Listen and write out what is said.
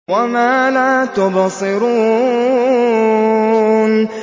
وَمَا لَا تُبْصِرُونَ